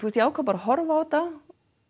ég ákvað bara að horfa á þetta